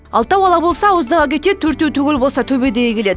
алтау ала болса ауыздағы кетеді төртеу түгел болса төбедегі келеді